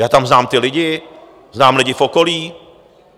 Já tam znám ty lidi, znám lidi v okolí.